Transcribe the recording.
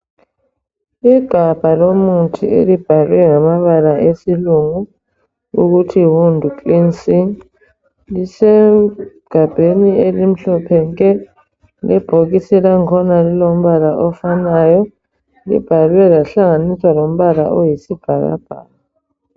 Igabha lomuthi elibhalwe ngamabala esilungu ukuthi wound cleansing lisegabheni elimhlophe nke. Ibhokisi lakhona lilombala ofanayo libhalwe lahlanganiswa lombala oyisibhakabhaka.